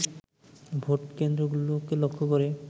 ভোটকেন্দ্রগুলোকে লক্ষ্য করে